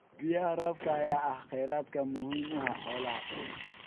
Biyaha roobka ayaa ah kheyraad muhiim u ah xoolaha.